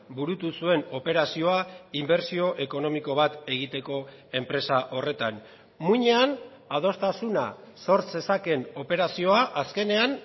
burutu zuen operazioa inbertsio ekonomiko bat egiteko enpresa horretan muinean adostasuna sor zezakeen operazioa azkenean